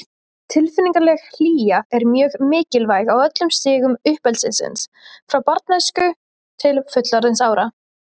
Tilfinningaleg hlýja er mjög mikilvæg á öllum stigum uppeldisins, frá barnæsku til fullorðinsára.